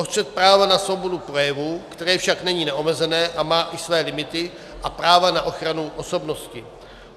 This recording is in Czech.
O střet práva na svobodu projevu, které však není neomezené a má i své limity, a práva na ochranu osobnosti.